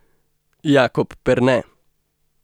Jakob Perne.